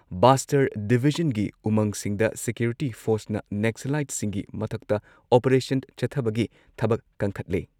ꯕꯥꯁꯇꯔ ꯗꯤꯚꯤꯖꯟꯒꯤ ꯎꯃꯪꯁꯤꯡꯗ ꯁꯤꯀ꯭ꯌꯨꯔꯤꯇꯤ ꯐꯣꯔꯁꯅ ꯅꯦꯛꯁꯂꯥꯏꯠꯁꯤꯡꯒꯤ ꯃꯊꯛꯇ ꯑꯣꯄꯔꯦꯁꯟ ꯆꯠꯊꯕꯒꯤ ꯊꯕꯛ ꯀꯟꯈꯠꯂꯦ